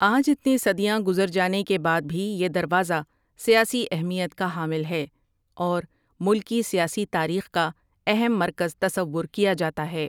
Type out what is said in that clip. آج اتنی صدیاں گزر جانے کے بعد بھی یہ دروازہ سیاسی اہمیت کا حامل ہے اور ملکی سیاسی تاریخ کا اہم مرکز تصور کیا جاتا ہے ۔